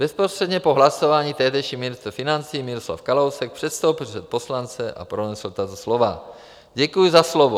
Bezprostředně po hlasování tehdejší ministr financí Miroslav Kalousek předstoupil před poslance a pronesl tato slova: Děkuji za slovo.